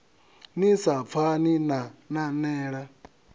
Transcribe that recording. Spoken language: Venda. ni sa pfani na nanela